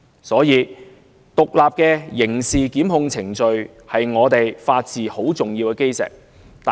所以，獨立的刑事檢控程序是法治的基石，十分重要。